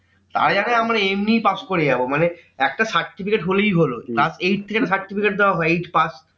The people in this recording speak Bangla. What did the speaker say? তারা জানে আমরা এমনি pass করে যাবো মানে একটা certificate হলেই হলো তার eight থেকে একটা certificate দেওয়া হয়। eight pass